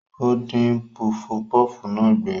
Ó dín pufupúfú náà gbé.